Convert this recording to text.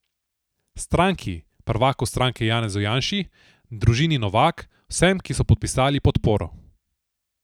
Stranki, prvaku stranke Janezu Janši, družini Novak, vsem, ki so podpisali podporo.